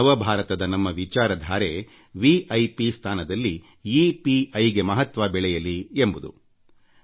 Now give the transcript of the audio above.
ನವ ಭಾರತದ ನಮ್ಮ ವಿಚಾರ ಧಾರೆ ವಿ ಐ ಪಿ ಸ್ಥಾನದಲ್ಲಿ ಇ ಪಿ ಐ ಗೆ ಮಹತ್ವ ಬೆಳೆಯಲಿ ಎಂಬುದು ನನ್ನ ಆಶಯ